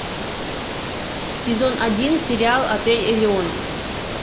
сезон один сериал отель элеон